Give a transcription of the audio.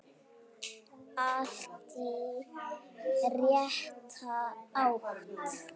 Allt í rétta átt.